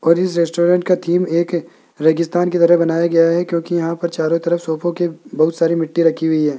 और इस रेस्टोरेंट का थीम एक रेगिस्तान की तरह बनाया गया है क्योंकि यहां पर चारों तरफ सोफों के बहुत सारी मिट्टी रखी गई है।